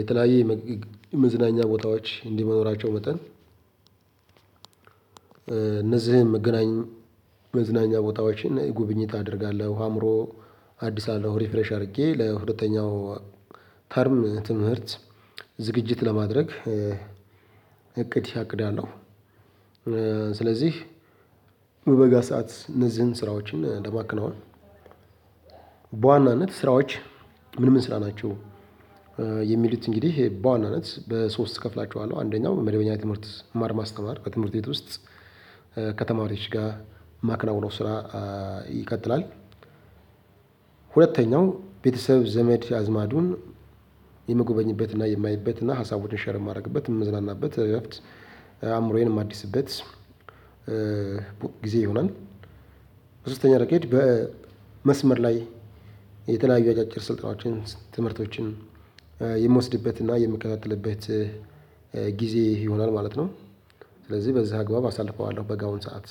የተለያየ መዝናኛ ቦታዎች እንዲኖራቸው መጠን እነዚህን መገናኛ መዝናኛ ቦታዎችን ጉብኝት አደርጋለሁ አእምሮ አዲስ አለው ሪፍሬሽ አድርጌ ለሁለተኛው ተርም ትምህርት ዝግጅት ለማድረግ እቅድ አቅዳለው። ስለዚህ በበጋ ሰዓት እነዚህን ስራዎችን ለማከናወን በዋናነት ስራዎች ምን ምን ስራ ናቸው? የሚሉት እንግዲህ በዋናነት በሶስት እከፍላቸዋለሁ አንደኛው መደበኛ ትምህርት መማር ማስተማር በትምህርት ቤት ውስጥ ከተማሪዎች ጋር ማክናውነው ስራ ይቀጥላል። ሁለተኛው ቤተሰብ ዘመድ አዝማዱን የምጎበኝበትና የማይበትና ሀሳቡን ሼር የማደርግበት የምዝናናበት እረፍት አእምሮዬን ማዲስበት ጊዜ ይሁናል። ሶስተኛ ረገድ በመስመር ላይ የተለያዩ አጫጭር ስልጣኖችን ትምህርቶችን የምወስድበትና የምከታተልበት ጊዜ ይሆናል ማለት ነው። ስለዚህ በዚህ አግባብ አሳልፈዋለሁ በጋውን ሰዓት